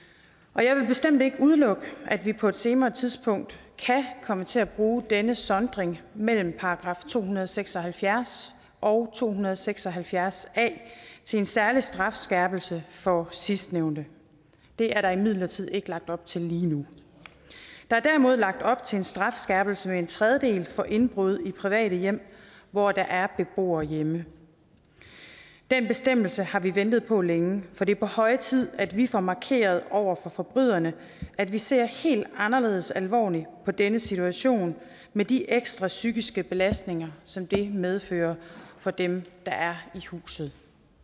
og jeg vil bestemt ikke udelukke at vi på et senere tidspunkt kan komme til at bruge denne sondring mellem § to hundrede og seks og halvfjerds og to hundrede og seks og halvfjerds a til en særlig strafskærpelse for sidstnævnte det er der imidlertid ikke lagt op til lige nu der er derimod lagt op til en strafskærpelse med en tredjedel for indbrud i private hjem hvor der er beboere hjemme den bestemmelse har vi ventet på længe for det er på høje tid at vi får markeret over for forbryderne at vi ser helt anderledes alvorligt på denne situation med de ekstra psykiske belastninger som det medfører for dem der er i huset